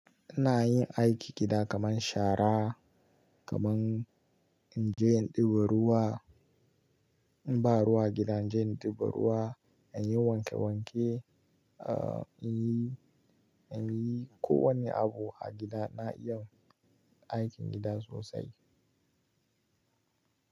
Ina yin aikin gida kamar shara, kamar in je in ɗiba ruwa, in ba ruwa gida, in je in ɗiba ruwa, in yi wanke wanke, a, in yi, in yi kowane abu a gida. Na iya aikin gida sosai.